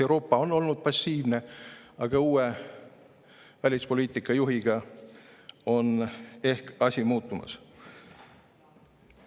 Euroopa on olnud passiivne, aga uue välispoliitika juhiga on asi ehk muutumas.